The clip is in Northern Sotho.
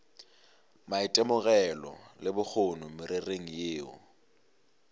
maitemogelo le bokgoni mererong yeo